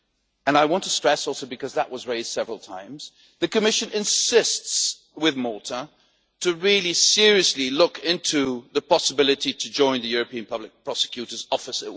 And I want to stress also, because that was raised several times, the Commission insists with Malta to really seriously look into the possibility to join the European Public Prosecutor's Office.